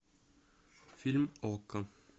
фильм окко